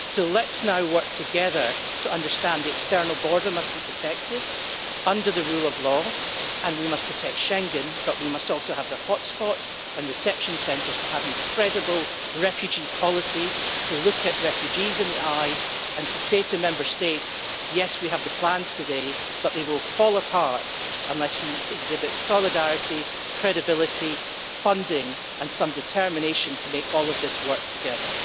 Let us now work together to understand that the external border must be protected under the rule of law, that we must protect Schengen, but that we must also have the hot spots' and reception centres to have a credible refugee policy in order to look refugees in the eye and say to Member States yes, we have the plans today, but they will fall apart unless we exhibit solidarity, credibility, funding and some determination to make all of this work together.